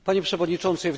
Panie Przewodniczący!